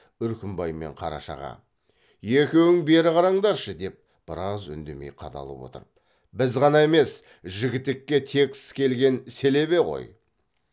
үркімбай мен қарашаға екеуің бері қараңдаршы деп біраз үндемей қадалып отырып біз ғана емес жігітекке тексіс келген селебе ғой